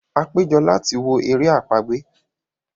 a pejọ lati wo èrè àpagbè